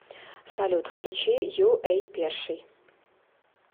салют включи ю эй перший